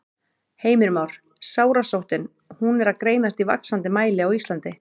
Heimir Már: Sárasóttin, hún er að greinast í vaxandi mæli á Íslandi?